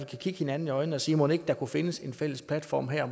kan kigge hinanden i øjnene og sige mon ikke der kunne findes en fælles platform her